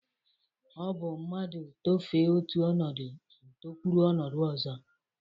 O bu mrnadu tofee otu onodo o tokwuru onodo ozo.